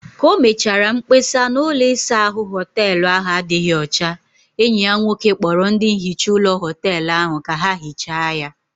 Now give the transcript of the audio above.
Ka o mechara mkpesa na ụlọ isa ahụ hoteelu ahụ adịghị ọcha, enyi ya nwoke kpọrọ ndị nhicha ụlọ hoteelu ahụ ka ha hichaa ya